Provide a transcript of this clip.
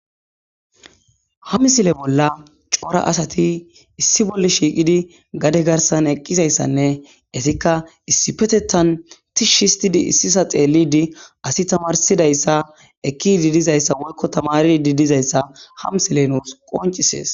Ha misile bolla cora asati issi bolla shiiqidi gade garssan eqqizayssanne eetika issipetethan tishshi issisa xeelidi asi tammarsidayssa ekkidi dizayssa woyko tammaridi dizayssa ha misiley nuus qonccisees.